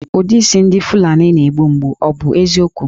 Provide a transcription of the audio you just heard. Ụdị isi ndị Fulani na-egbu mgbu, ọ bụ eziokwu?